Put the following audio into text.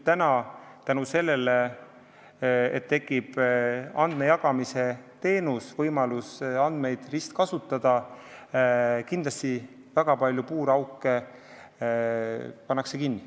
Tänu sellele, et tekib andmejagamisteenus, võimalus andmeid ristkasutada, pannakse kindlasti väga palju puurauke kinni.